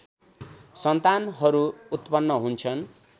सन्तानहरू उत्पन्न हुन्छन्